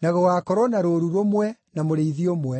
na gũgaakorwo na rũũru rũmwe, na mũrĩithi ũmwe.